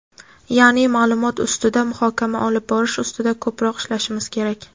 yaʼni maʼlumot ustida muhokama olib borish ustida ko‘proq ishlashimiz kerak.